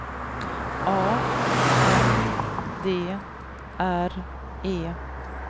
A N D R E